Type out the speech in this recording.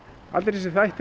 allir þessir þættir